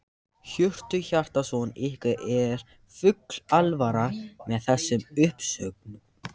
Hjörtur Hjartarson: Ykkur er full alvara með þessum uppsögnum?